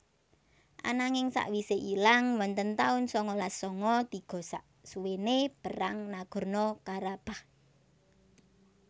Ananging sakwise ilang wonten tahun sangalas sanga tiga saksuwene perang Nagorno Karabakh